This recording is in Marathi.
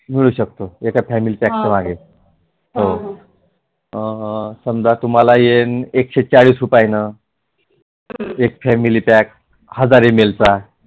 मिळु शकतो एका फॅमिली पॅक पण आहे समजा तुम्हाला एकशे चाळीस रुपये आहे न एक फॅमिली पॅक हजार एमल चा मिळु‌ शकतो